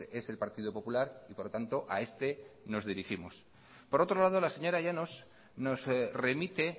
es el partido popular y por lo tanto a este nos dirigimos por otro lado la señora llanos nos remite